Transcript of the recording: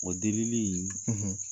O delili in ,.